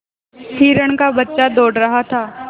हिरण का बच्चा दौड़ रहा था